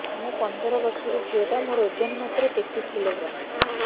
ମୁ ପନ୍ଦର ବର୍ଷ ର ଝିଅ ଟା ମୋର ଓଜନ ମାତ୍ର ତେତିଶ କିଲୋଗ୍ରାମ